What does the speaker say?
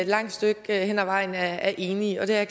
langt stykke hen ad vejen er enige og det er